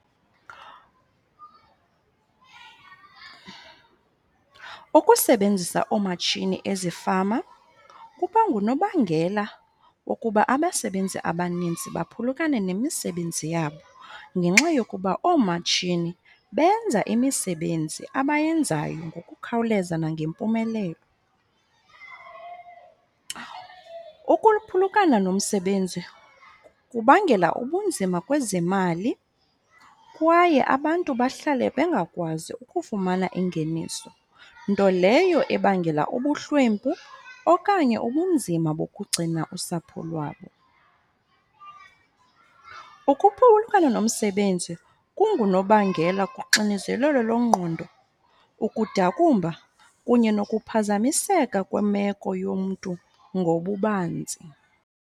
Ukusebenzisa oomatshini ezifama kuba ngunobangela wokuba abasebenzi abaninzi baphulukane nemisebenzi yabo ngenxa yokuba oomatshini benza imisebenzi abayenzayo ngokukhawuleza nangempumelelo. Ukuphulukana nomsebenzi kubangela ubunzima kwezemali kwaye abantu bahlale bengakwazi ukufumana ingeniso. Nto leyo ebangela ubuhlwempu okanye ubunzima bokugcina usapho lwabo. Ukuphulukana nomsebenzi kungunobangela kuxinezelelo lwengqondo, ukudakumba kunye nokuphazamiseka kwemeko yomntu ngobubanzi.